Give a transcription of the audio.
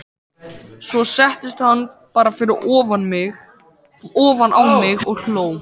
Svo settist hann bara ofan á mig og hló.